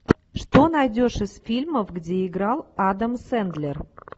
что найдешь из фильмов где играл адам сендлер